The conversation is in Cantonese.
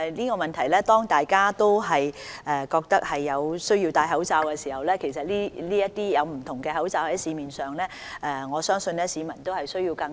當大家都覺得有需要戴口罩，而市面又有不同款式可供選擇時，市民的確需要更多資訊。